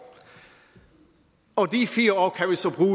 og de fire